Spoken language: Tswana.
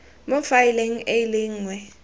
mo faeleng e le nngwe